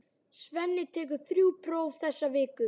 Svenni tekur þrjú próf þessa viku.